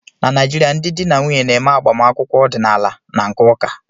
Na Naịjirịa, ndị di na nwunye na-eme agbamakwụkwọ ọdịnaala na nke ụka